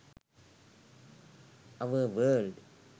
our world